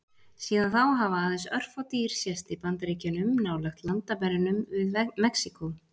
Síðan þá hafa aðeins örfá dýr sést í Bandaríkjunum, nálægt landamærunum við Mexíkó.